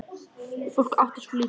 Fólk átti svo lítið.